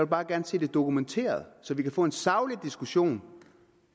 bare gerne se det dokumenteret så vi kan få en saglig diskussion